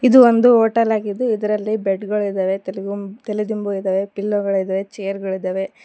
ಇದು ಒಂದು ಹೋಟೆಲ್ ಆಗಿದೆ ಇದರಲ್ಲಿ ಬೆಡ್ ಗಳಿದಾವೆ ತಲೆಗುಂಬು ತಲೆ ದಿಂಬು ಇದಾವೆ ಪಿಲ್ಲೋ ಗಳಿದಾವೆ ಚೇರ್ ಗಳಿದಾವೆ.